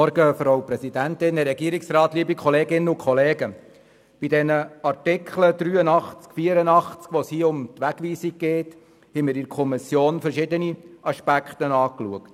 Bei den Artikeln 83 und 84, wo es um die Wegweisung geht, haben wir in der Kommission verschiedene Aspekte betrachtet.